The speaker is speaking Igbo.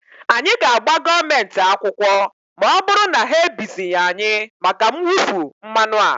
anyị ga-agba gọọmenti akwụkwọ ma ọ bụrụ na ha ebizighị anyị maka mwụfu mmanụ a